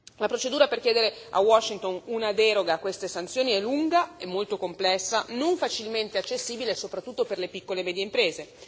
La procedura per chiedere a Washington una deroga a queste sanzioni è lunga e molto complessa, non facilmente accessibile, soprattutto per le piccole e medie imprese.